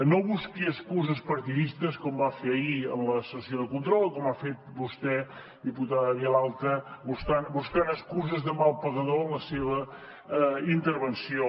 no busqui excuses partidistes com va fer ahir en la sessió de control o com ha fet vostè diputada vilalta buscant excuses de mal pagador en la seva intervenció